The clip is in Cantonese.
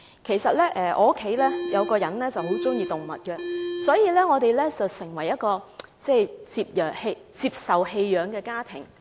由於我有一名家庭成員很喜歡動物，我們的家已成為一個接收棄養動物的地方。